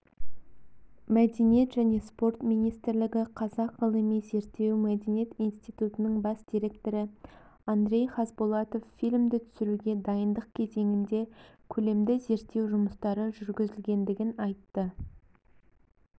мәдениет және спорт министрлігі қазақ ғылыми-зерттеу мәдениет институтының бас директоры андрей хазбулатов фильмді түсіруге дайындық кезеңінде көлемді зерттеу жұмыстары жүргізілгендігін айтты